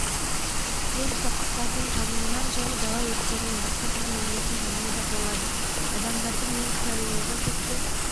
мен қоқыстардың жануынан және дала өрттерінен басқа тұрғын үйлердің жануы да болады адамдардың немқұрайлылығы тіпті